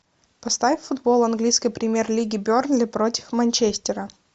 поставь футбол английской премьер лиги бернли против манчестера